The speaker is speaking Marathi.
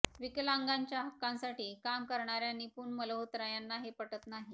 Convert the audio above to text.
विकलांगांच्या हक्कांसाठी काम करणाऱ्या निपुण मल्होत्रा यांना हे पटत नाही